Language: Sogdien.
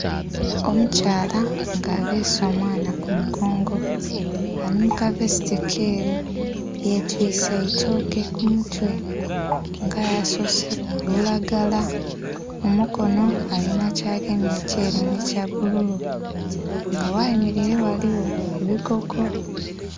Omukyala nga abeese omwana kumugongo ali mukavesiti keeru yetwise eitooke kumutwe nga asoseku olulagala mumukono alina kyagemye ekyeru n'ekyabbulu nga wayemeraire ghaligho ebigogo.